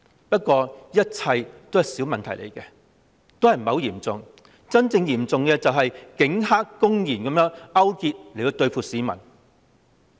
不過，這一切只是小問題，不算很嚴重，真正嚴重的是警黑公然勾結，對付市民。